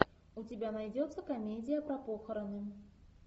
у тебя найдется комедия про похороны